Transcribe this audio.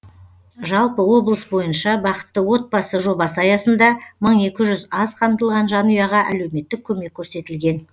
жалпы облыс бойынша бақытты отбасы жобасы аясында мың екі жүз аз қамтылған жанұяға әлеуметтік көмек көрсетілген